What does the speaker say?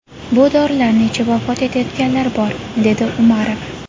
Bu dorilarni ichib vafot etayotganlar bor”, dedi Umarov.